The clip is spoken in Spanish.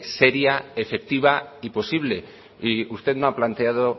seria efectiva y posible y usted no ha planteado